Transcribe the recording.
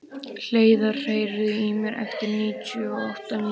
Hleiðar, heyrðu í mér eftir níutíu og átta mínútur.